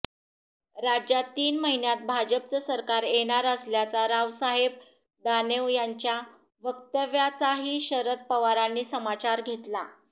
राज्यात तीन महिन्यात भाजपचं सरकार येणार असल्याचा रावसाहेब दानेव यांच्या वक्तव्याचाही शरद पवारांनी समाचार घेतला